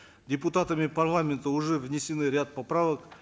депутатами парламента уже внесен ряд поправок